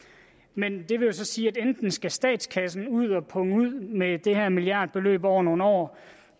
men det vil jo så sige at enten skal statskassen ud at punge ud med det her milliardbeløb over nogle år